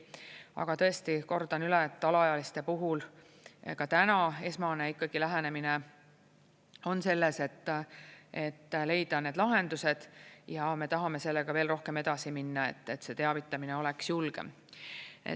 Aga tõesti, kordan üle: alaealiste puhul ka täna esmane lähenemine on selles, et leida need lahendused ja me tahame sellega veel rohkem edasi minna, et see teavitamine oleks julgem.